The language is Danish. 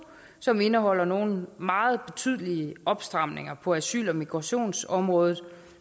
som indeholder nogle meget betydelige opstramninger på asyl og migrationsområdet